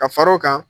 Ka fara o kan